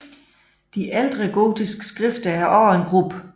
De ældre gotiske skrifter er også en gruppe